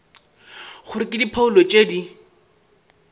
gore ke diphoulo tše di